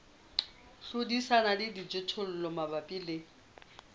hlodisana le dijothollo mabapi le